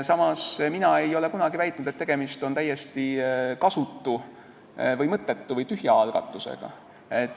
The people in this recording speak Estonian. Samas ei ole mina kunagi väitnud, et tegemist on täiesti kasutu, mõttetu või tühja algatusega.